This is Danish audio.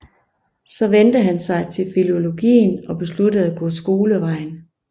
Så vendte han sig til filologien og besluttede at gå skolevejen